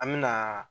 An me na